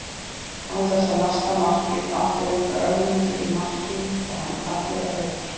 Án þess að lasta markið átti reyndar Ögmundur í marki Fram að gera betur.